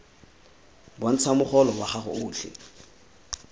bontsha mogolo wa gago otlhe